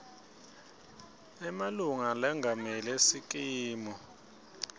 emalunga lengamele sikimu